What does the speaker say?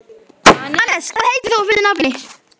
Anes, hvað heitir þú fullu nafni?